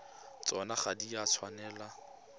tsona ga di a tshwanela